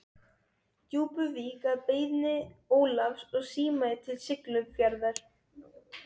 Djúpuvík að beiðni Ólafs og símaði til Siglufjarðar.